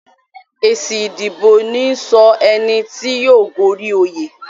Èsì ìdìbò níí sọ ẹni tí yóò gorí oyè